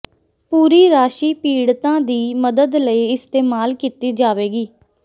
ਪੂਰੀ ਰਾਸ਼ੀ ਪੀੜਤਾਂ ਦੀ ਮਦਦ ਲਈ ਇਸਤੇਮਾਲ ਕੀਤੀ ਜਾਵੇਗੀ